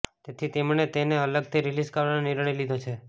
તેથી તેમણે તેને અલગથી રિલીઝ કરવાનો નિર્ણય લીધો છે